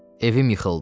Evim yıxıldı.